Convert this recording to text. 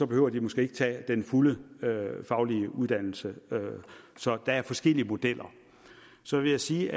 behøver de måske ikke tage den fulde faglige uddannelse så der er forskellige modeller så vil jeg sige